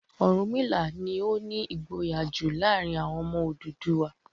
Ọ̀rúnmìlà ni ó ní ìgboyà jù láàárin àwọn ọmọ Odùduwà.